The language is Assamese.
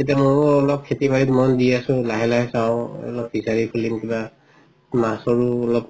এতিয়া মইও খেতি বাৰিত মন দি আছো লাহে লাহে চাওঁ অলপ বিচাৰি ফুৰিম কিবা অলপ